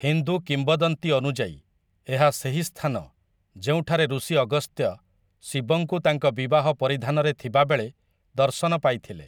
ହିନ୍ଦୁ କିମ୍ବଦନ୍ତୀ ଅନୁଯାୟୀ, ଏହା ସେହି ସ୍ଥାନ ଯେଉଁଠାରେ ଋଷି ଅଗସ୍ତ୍ୟ, ଶିବଙ୍କୁ ତାଙ୍କ ବିବାହ ପରିଧାନରେ ଥିବାବେଳେ ଦର୍ଶନ ପାଇଥିଲେ ।